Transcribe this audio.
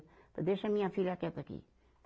Falei, deixa minha filha quieta aqui.